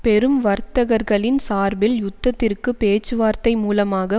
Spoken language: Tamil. பெரும் வர்த்தகர்களின் சார்பில் யுத்தத்திற்கு பேச்சுவார்த்தை மூலமாக